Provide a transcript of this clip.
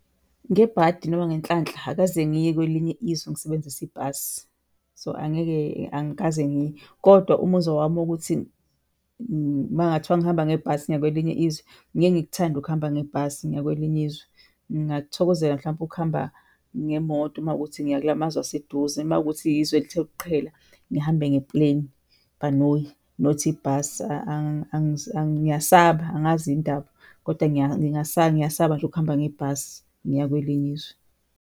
Ngebhadi noma ngenhlanhla akaze ngiye kwelinye izwe ngisebenzisa ibhasi, so angeke, angikaze ngiye. Kodwa umuzwa wami wokuthi makungathiwa ngihamba ngebhasi ngiya kwelinye izwe, ngeke ngikuthande ukuhamba ngebhasi ngiya kwelinye izwe. Ngingakuthokozela mhlawumpe ukuhamba ngemoto mawukuthi ngiya kula mazwe aseduze, mawukuthi izwe elithe ukuqhela ngihambe nge-plane, ibhanoyi not ibhasi. Ngiyasaba, angazi yini indaba kodwa ngingasaba, ngiyasaba nje ukuhamba ngebhasi ngiya kwelinye izwe.